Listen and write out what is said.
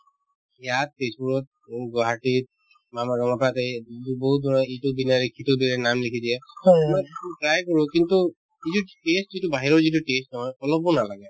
ইয়াত তেজপুৰত, গুৱাহাটীত ব বহুত দূৰৰ এইটো বিৰিয়ানী সেইটো বিৰিয়ানী নাম লিখি দিয়ে মই test তো try কৰো কিন্তু এইটোত taste যিটো বাহিৰৰ যিটো taste নহয় অলপো নালাগে